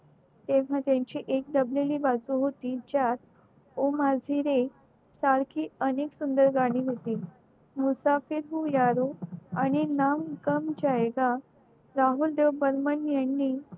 तेव्हा तात्यांची एक दबलेली बाजू होती ज्यात ओ माही रे सारखी अनेक सुंदर गाणे होती मुसाफिर हू यारो आणि नाम बन जायेगा राहुल देव बर्मन यांनी